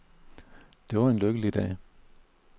Det var en lykkelig dag.